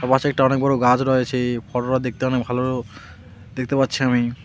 একটা অনেক বড় গাছ রয়েচে ফটো -টা দেখতে অনেক ভালো দেখতে পাচ্ছি আমি।